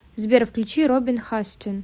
сбер включи робин хастин